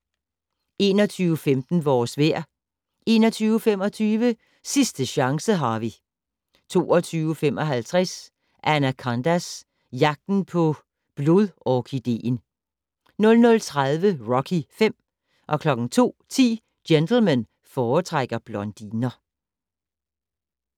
21:15: Vores vejr 21:25: Sidste chance, Harvey 22:55: Anacondas: Jagten på blodorkideen 00:30: Rocky V 02:10: Gentlemen foretrækker blondiner